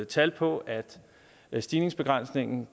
tal på at stigningsbegrænsningen